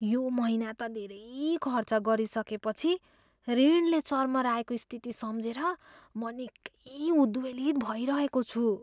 यो महिना त धेरै खर्च गरिसकेपछि ऋणले चर्मराएको स्थिति सम्झेर म निकै उद्वेलित भइरहेको छु।